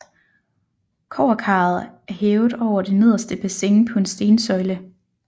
Kobberkaret er hævet over det nederste bassin på en stensøjle